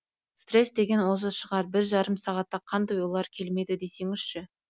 стресс деген осы шығар бір жарым сағатта қандай ойлар келмеді десеңізші